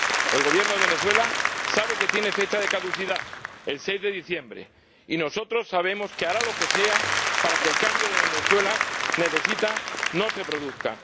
El Gobierno de Venezuela sabe que tiene fecha de caducidad ―el 6 de diciembre―, y nosotros sabemos que hará lo que sea para que el cambio que Venezuela necesita no se produzca.